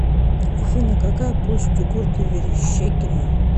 афина какая площадь у города верещагино